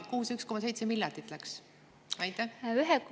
Ja kuhu see 1,7 miljardit läks?